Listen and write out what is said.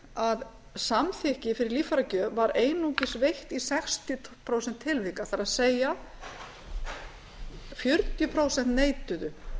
að samþykki fyrir líffæragjöf var einungis veitt í sextíu prósent tilvika það er fjörutíu prósent neituðu